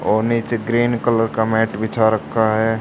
और नीचे green colour का मैट बिछा रखा है।